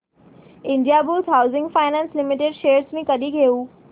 Indiabulls housing finance limited shares मी कधी घेऊ